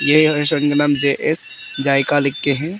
जे S जायका लिख के है।